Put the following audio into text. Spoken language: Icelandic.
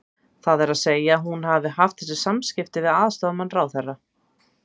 Það er að segja að hún hafi haft þessi samskipti við aðstoðarmann ráðherra?